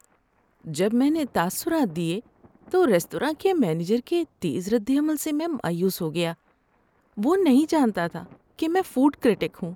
جب میں نے تاثرات دیے تو ریستوراں کے مینیجر کے تیز ردعمل سے میں مایوس ہو گیا۔ وہ نہیں جانتا تھا کہ میں فوڈ کریٹک ہوں۔